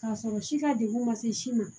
K'a sɔrɔ si ka degun man se si ma